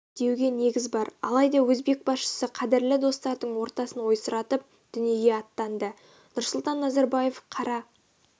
деуге негіз бар алайда өзбек басшысы қадірлі достардың ортасын ойсыратып дүниеге аттанды нұрсұлтан назарбаев қара